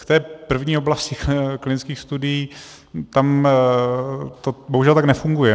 K té první oblasti klinických studií, tam to bohužel tak nefunguje.